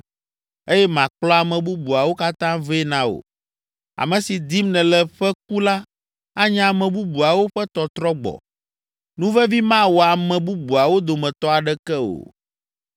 eye makplɔ ame bubuawo katã vɛ na wò. Ame si dim nèle ƒe ku la anye ame bubuawo ƒe tɔtrɔ gbɔ; nuvevi mawɔ ame bubuawo dometɔ aɖeke o.”